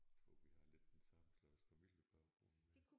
Tror vi har lidt den samme slags familiebaggrund